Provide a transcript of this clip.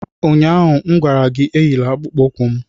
Ụnyaahụ m gwara gị, Enyila akpụkpọ ụkwụ m!